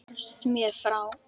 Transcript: Hvarfst mér frá.